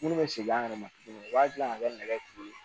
Minnu bɛ segin an yɛrɛ ma tuguni u b'a dilan ka kɛ nɛgɛ turu ye